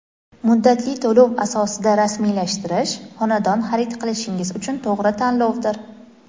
muddatli to‘lov asosida rasmiylashtirish – xonadon xarid qilishingiz uchun to‘g‘ri tanlovdir.